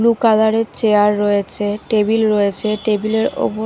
blue colour -এর chair রয়েছে table রয়েছে টেবিল -এর ওপর--